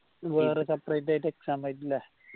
വേറെ separate ആയിട്ട് exam എഴുതണ്ടേ